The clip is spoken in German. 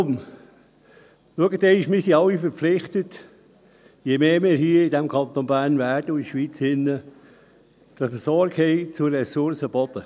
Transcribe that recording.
– Schauen Sie mal: Wir sind alle verpflichtet, mehr Sorge zur Ressource Boden zu tragen, je mehr Leute wir hier im Kanton Bern und in der Schweiz werden.